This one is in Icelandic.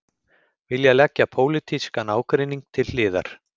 Vilja leggja pólitískan ágreining til hliðar